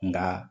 Nka